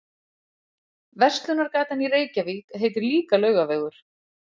Verslunargatan í Reykjavík heitir líka Laugavegur.